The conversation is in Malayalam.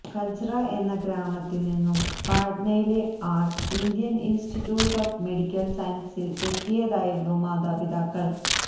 കജ്റ എന്ന ഗ്രാമത്തില് നിന്നും പാട്നയിലെ ആള് ഇന്ത്യ ഇന്സ്റ്റിറ്റ്യൂട്ട് ഓഫ് മെഡിക്കല് സയന്സസില് എത്തിയതായിരുന്നു മാതാപിതാക്കള്